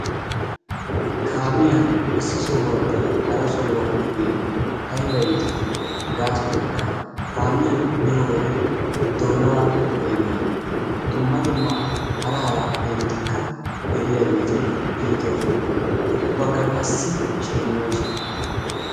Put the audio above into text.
kaamiyan issi sohuwaappe hara sohuwa biyoge aybba iitii? gaasottaykka kaamiyan biyo wode doonaa peenoy dumma dumma hara hara peenotikka geliyaageeti iitoosona. ubakka qassi sheneyoosona.